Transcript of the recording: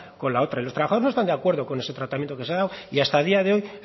con la otra y los trabajadores no están de acuerdo con ese tratamiento que se ha dado y hasta el día de hoy